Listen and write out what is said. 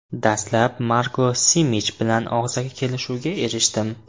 Dastlab Marko Simich bilan og‘zaki kelishuvga erishdim.